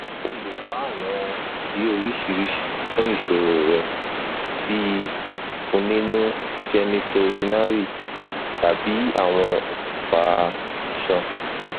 o le wa awọn idi oriṣiriṣi fun iṣoro rẹ bii ikuninu genitourinary tabi awọn okunfa iṣan